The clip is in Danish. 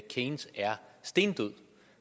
keynes er stendød